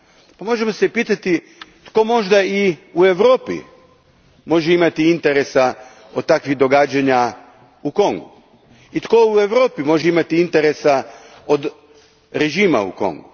A možemo se pitati i tko možda u Europi može imati interes od takvih događanja u Kongu? I tko u Europi može imati interes od režima u Kongu?